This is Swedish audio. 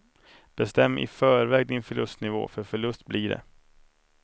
Bestäm i förväg din förlustnivå, för förlust blir det.